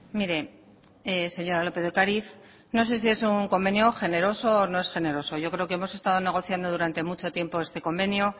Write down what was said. mire señora lópez de ocariz no sé si es un convenio generoso o no es generoso yo creo que hemos estado negociando durante mucho tiempo este convenio